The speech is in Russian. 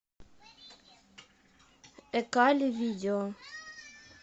экали видео